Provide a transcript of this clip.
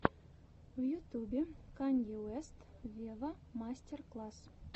в ютубе канье уэст вево мастер класс